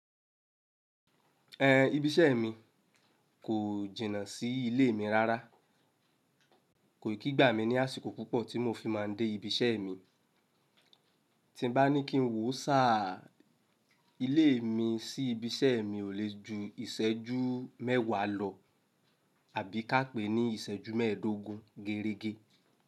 Ibi iṣẹ́ mi kò jìnnà sí ilé mi rárá, kò yí kígba mi ní àsìkò púpọ̀ tí mo fi má a dé ibi iṣẹ́ mi. Tí bá ní kí n wò sá ilé mi sí ibi iṣẹ́ mi, ò lè ju ìṣẹ́jú mẹ́wàá lọ àbí ká pè é ní ìṣẹ́jú mẹ́ẹ̀ẹ́dógún gérége.